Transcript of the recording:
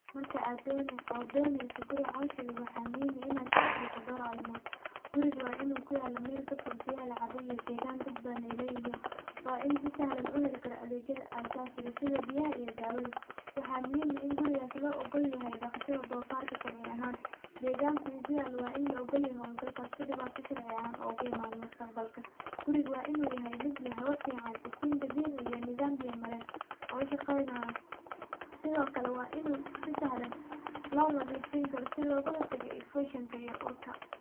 Marka aad doneyso guri cosh eh waxaa muhiim ah in aad tix galiso dor arimood, guriga waa in u kuyala meel ka fog meelaha biyaha iyo degan dad badan ee leyihin, waa in u heli karaa si sahlan tas sitha biyaha waxaa muhiim ah in gurigas lo ogoladho, deganku u kuyalo waa in la ogol yoho si ee oga imanin mustaqbalka guriga waa in u yahay miid hawa fican iftin dabici ah iyo biya maren oo shaqeynayo, sithokale waa in si sahlan lo nadhifin karo si loga hortaga elfikshinka iyo urka.